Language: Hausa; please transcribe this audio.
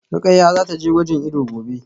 Rukayyah zataje gwajin ido gobe